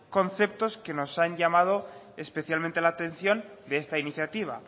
conceptos que nos han llamado especialmente la atención de esta iniciativa